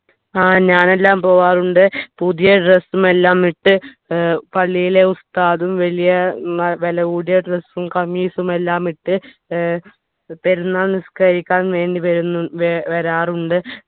ആ ഞാനെല്ലാം പോകാറുണ്ട് പുതിയ dress ഉം എല്ലാം ഇട്ട് ഏർ പള്ളിയിലെ ഉസ്താദും വലിയ ഏർ വിലകൂടിയ dress ഉം ഖമീസും എല്ലാമിട്ട് ഏർ പെരുന്നാൾ നിസ്‌കരിക്കാൻ വേണ്ടി വരാറുണ്ട്